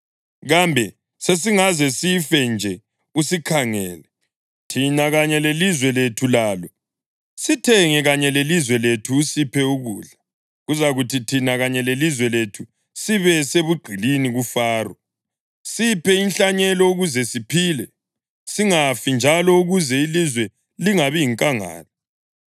Kambe sesingaze sife nje usikhangele, thina kanye lelizwe lethu lalo? Sithenge kanye lelizwe lethu usiphe ukudla, kuzakuthi thina kanye lelizwe lethu sibe sebugqilini kuFaro. Siphe inhlanyelo ukuze siphile, singafi, njalo ukuze ilizwe lingabi yinkangala.”